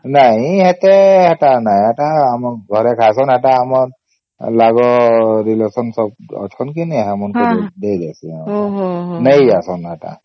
ନାଇଁ ସେତେ ଏତେ ନାଇଁ ସେଟା ଆମ ଘରେ ଖାଉସନ ହେଟା ଆମ ଲାଗ relation ସବୁ ଆଚ୍ଛନ କେ କେନ ନେଇ ଦେଇ ଆସୁନ ହଁ ନେଇ ଯାଉସନ